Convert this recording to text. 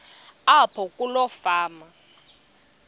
apho kuloo fama